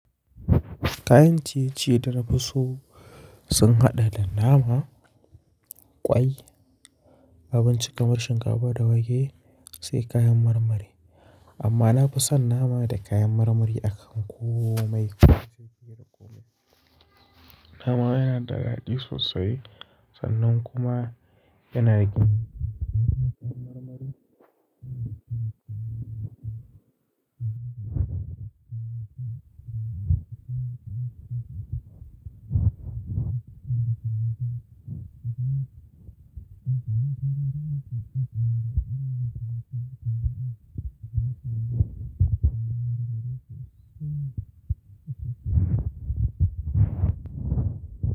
Kayan ciye-ciye da na fi so sun haɗa da nama, ƙwai, abinci kamar shinkafa da wake, sai kayan marmari. Amma na fi son nama da kayan marmari akan komai nafi so fiye da komai. Nama yana da daɗi sosai sannan kuma yana da kayan marmari.